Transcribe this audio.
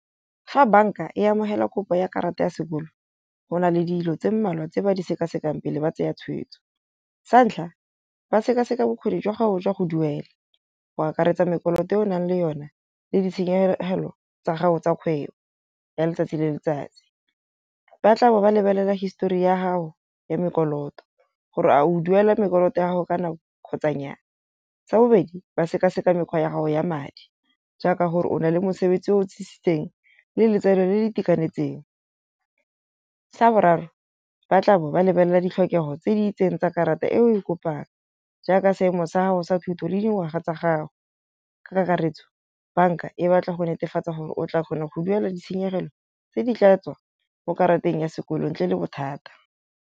Fa banka e amogela kopo ya karata ya sekolo go na le dilo tse mmalwa tse ba di sekasekang pele ba tsaya tshweetso. Sa ntlha, ba sekaseka bokgoni jwa gago jwa go duela. Go akaretsa mekoloto yo o nang le yone le ditshenyegelo tsa gago tsa kgwebo ya letsatsi le letsatsi. Ba tla be ba lebelela histori ya gago ya mekoloto, gore a o duela mekoloto ya gago ka nako kgotsa nyaa. Sa bobedi, ba sekaseka mekgwa ya gago ya madi. Jaaka gore o na le mosebetsi o tsitsitseng le letseno le le itekanetseng. Sa boraro, ba tla be ba lebelela ditlhokego tse di itseng tsa karata e o e kopang, jaaka seemo sa gago sa thuto le dingwaga tsa gago. Ka kakaretso banka e batla go netefatsa gore o tla kgona go duela ditshenyegelo tse di tla tswa mo karateng ya sekolo ntle le bothata.